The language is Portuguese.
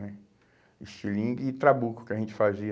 Né? Estilingue e trabuco que a gente fazia.